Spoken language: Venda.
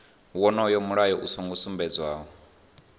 wonoyo mulayo u songo sumbedzwa